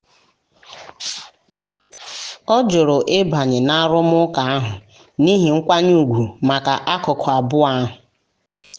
ọ jụrụ ịbanye na arụmụka ahụ n'ihi nkwanye ùgwù maka akụkụ abụọ ahụ.